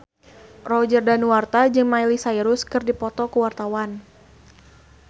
Roger Danuarta jeung Miley Cyrus keur dipoto ku wartawan